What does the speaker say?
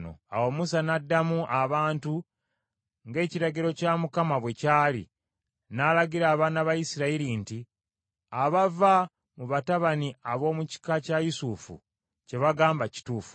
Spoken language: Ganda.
Awo Musa n’addamu abantu ng’ekiragiro kya Mukama bwe kyali n’alagira abaana ba Isirayiri nti, “Abava mu batabani ab’omu kika kya Yusufu kye bagamba kituufu.